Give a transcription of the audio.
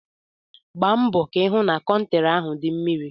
Gbaa mbọ ka ị hụ na kọnkriti ahụ dị mmiri!